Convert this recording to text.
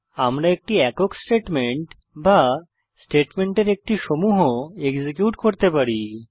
আমরা একটি একক স্টেটমেন্ট বা স্টেটমেন্টের একটি সমূহ এক্সিকিউট করতে পারি